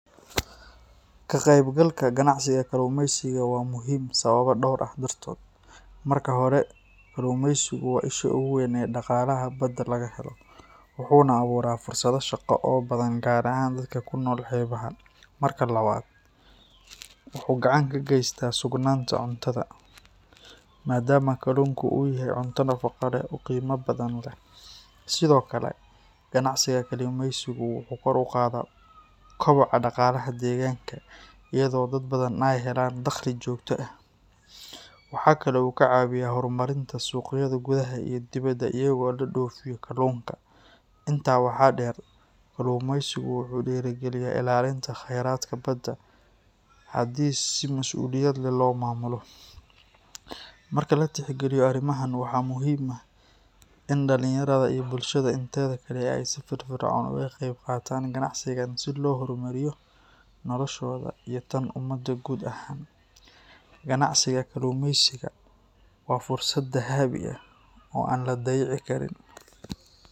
Ka qaybgalka ganacsiga kalluumeysiga waa muhiim sababo dhowr ah dartood. Marka hore, kalluumeysigu waa isha ugu weyn ee dhaqaalaha badda laga helo, wuxuuna abuuraa fursado shaqo oo badan gaar ahaan dadka ku nool xeebaha. Marka labaad, wuxuu gacan ka geystaa sugnaanta cuntada, maadaama kalluunka uu yahay cunto nafaqo leh oo qiimo badan leh. Sidoo kale, ganacsiga kalluumeysigu wuxuu kor u qaadaa koboca dhaqaalaha deegaanka, iyadoo dad badan ay helaan dakhli joogto ah. Waxaa kale oo uu ka caawiyaa horumarinta suuqyada gudaha iyo dibedda iyadoo loo dhoofiyo kalluunka. Intaa waxaa dheer, kalluumeysigu wuxuu dhiirrigeliyaa ilaalinta kheyraadka badda haddii si masuuliyad leh loo maamulo. Marka la tixgeliyo arrimahan, waxaa muhiim ah in dhalinyarada iyo bulshada inteeda kale ay si firfircoon uga qaybqaataan ganacsigan si loo horumariyo noloshooda iyo tan ummadda guud ahaan. Ganacsiga kalluumeysiga waa fursad dahabi ah oo aan la dayici karin.